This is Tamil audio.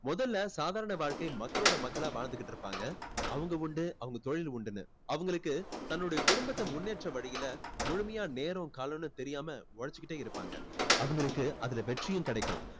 முதல்ல சாதாரண வாழ்க்கை மக்களோட மக்களா வாழ்ந்துகிட்டு இருப்பாங்க. அவங்க உண்டு அவங்க தொழில் உண்டுன்னு. அவங்களுக்கு தன்னுடைய குடும்பத்தை முன்னேற்ற வழியில் முழுமையா நேரம் காலம்ன்னு தெரியாமல் உழைச்சுகிட்டே இருப்பாங்க. அவங்களுக்கு அதுல வெற்றியும் கிடைக்கும்.